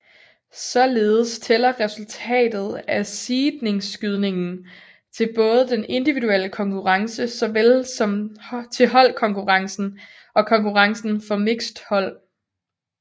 Således tæller resultatet af seedningsskydningen til både den individuelle konkurrence såvel som til holdkonkurrencen og konkurrencen for mixed hold